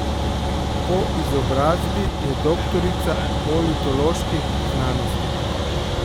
Po izobrazbi je doktorica politoloških znanosti.